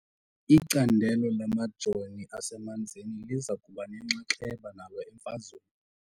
Icandelo lamajoo asemanzini liza kuba nenxaxheba nalo emfazweni .